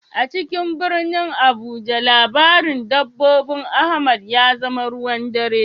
A cikin birnin Abuja labarin dabbobin Ahmad ya zama ruwan dare.